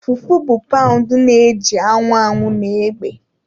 Fufu bụ paụnd na-eji anwụ anwụ na egbe